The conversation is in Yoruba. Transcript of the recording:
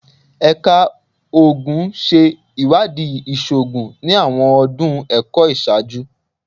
Ẹka Oogun ṣe iwadii iṣoogun ni awọn ọdun ẹkọ iṣaaju